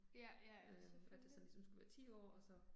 Ja ja ja selvfølgelig